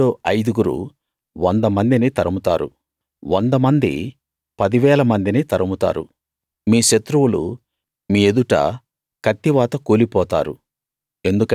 మీలో ఐదుగురు వంద మందిని తరుముతారు వంద మంది పదివేల మందిని తరుముతారు మీ శత్రువులు మీ ఎదుట కత్తివాత కూలిపోతారు